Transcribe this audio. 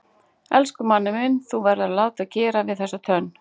Elsku Manni minn þú verður að láta gera við þessa tönn.